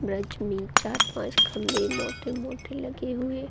bridge में चार-पांच खंभे मोटे-मोटे लगे हुए --